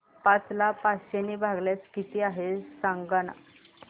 पाच ला पाचशे ने भागल्यास किती आहे सांगना